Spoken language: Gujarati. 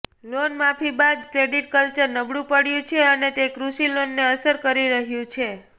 લોનમાફી બાદ ક્રેડિટ કલ્ચર નબળું પડ્યું છે અને તે કૃષિ લોનને અસર કરી રહ્યું છે